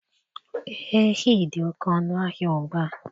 Ehi dị oke ọnụahịa ugbua.